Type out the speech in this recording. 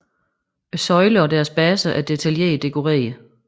Søjlerne og deres baser er detaljeret dekoreret